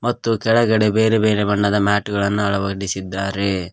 ಮತ್ತು ತೆಳಗಡೆ ಬೇರೆ ಬೇರೆ ಬಣ್ಣದ ಮ್ಯಾಟ್ ಗಳನ್ನ ಅಳವಡಿಸಿದ್ದಾರೆ.